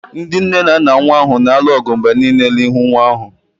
Ndị nne na nna nwa ahụ na-alụ ọgụ mgbe niile n'ihu nwa ahụ